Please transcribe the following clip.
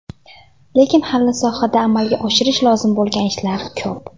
Lekin hali sohada amalga oshirish lozim bo‘lgan ishlar ko‘p.